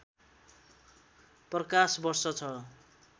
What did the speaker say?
प्रकाशवर्ष छ